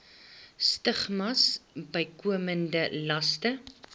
stigmas bykomende laste